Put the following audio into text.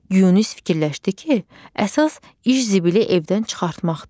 Yunis fikirləşdi ki, əsas iş zibili evdən çıxartmaqdır.